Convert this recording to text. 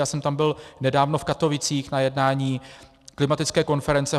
Já jsem tam byl nedávno v Katovicích na jednání klimatologické konference.